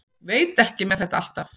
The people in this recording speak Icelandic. Veit ekki með þetta alltaf.